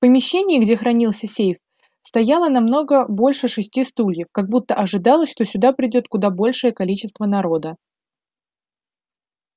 помещении где хранился сейф стояло намного больше шести стульев как будто ожидалось что сюда придёт куда большее количество народа